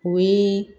O ye